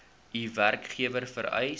u werkgewer vereis